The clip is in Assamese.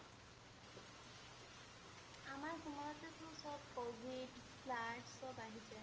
আমাৰ সময়তেটো সব কভিড flood সব আহিছে